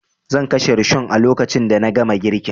Zan kashe rishon a lokacin da na gama girkin